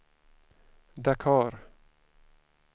Dakar